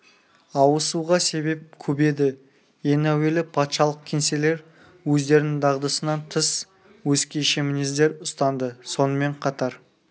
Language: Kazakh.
ауысуға себеп көп еді ең әуелі патшалық кеңселер өздерінің дағдысынан тыс өзгеше мінездер ұстанды сонымен қатар